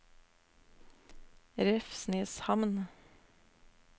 Revsneshamn